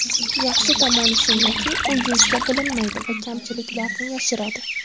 Yaxshi tomoni shundaki, u yuzda bilinmaydi va kamchiliklarni yashiradi.